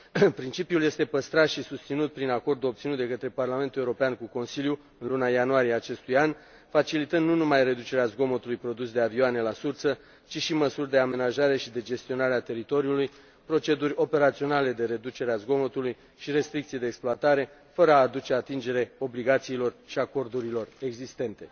Principiul este păstrat și susținut prin acordul obținut de către Parlamentul European cu Consiliul în luna ianuarie a acestui an, facilitând nu numai reducerea zgomotului produs de avioane la sursă, ci și măsuri de amenajare și de gestionare a teritoriului, proceduri operaționale de reducere a zgomotului și restricții de exploatare, fără a aduce atingere obligațiilor și acordurilor existente.